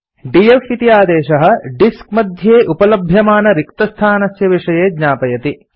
DF इति आदेशः disk मध्ये उपलभ्यमानरिक्तस्थानस्य विषये ज्ञापयति